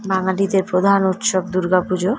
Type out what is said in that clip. বাঙালিদের প্রধান উৎসব দুর্গাপুজো ।